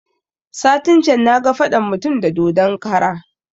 Satin can na ga faɗan mutum da dodon kara